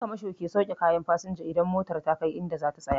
Ƴan kamasho ke sauke kayan fasinja idan motar kai idan za ta tsaya